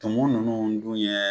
Tumu ninnu dun yan